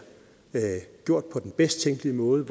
gjort på den bedst tænkelige måde